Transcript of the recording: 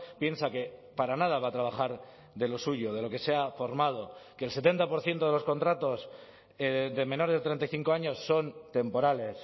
piensa que para nada va a trabajar de lo suyo de lo que se ha formado que el setenta por ciento de los contratos de menores de treinta y cinco años son temporales